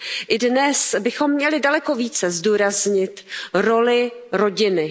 I dnes bychom měli daleko více zdůraznit roli rodiny.